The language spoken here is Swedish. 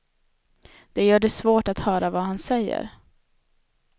Det gör det svårt att höra vad han säger.